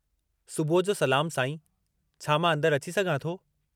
सुबुह जो सलामु साईं, छा मां अंदरि अची सघां थो?